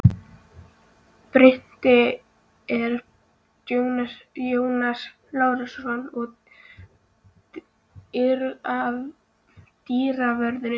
Bryti er Jónas Lárusson og dyravörður